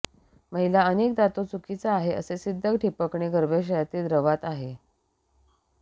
महिला अनेकदा तो चुकीचा आहे असे सिद्ध ठिपकणे गर्भाशयातील द्रवात आहे